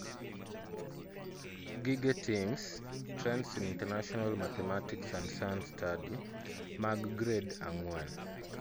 Gige TIMSS ( Trends in International Mathematicsand Science Study ) mag gred ang'wen